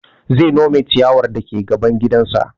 Zai nome ciyawar dake gaban gidan sa